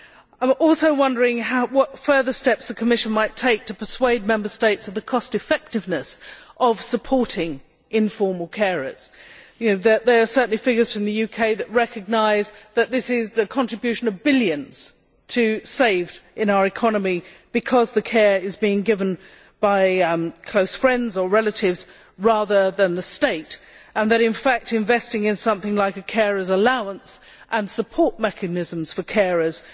I am also wondering what further steps the Commission might take to persuade Member States of the cost effectiveness of supporting informal carers. There are certainly figures from the UK that recognise that this is a contribution of billions saved in our economy, because the care is being given by close friends or relatives rather than by the state, and that in fact, investing in something like a carer's allowance and support mechanisms for carers